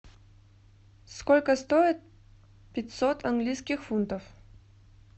сколько стоит пятьсот английских фунтов